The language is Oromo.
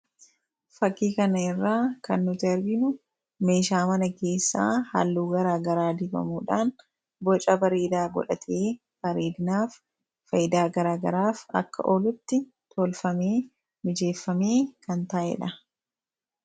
Fakkii kanarraa kan nuti aginu meeshaa mana keessaa halluu gara garaa dibamuudhaan boca bareedaa godhatee miidhaginaaf ,faayidaa gara garaaf akka oolutti mijeeffamee kan taa'edha.